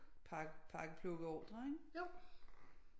Pakke plukke ordrer ikke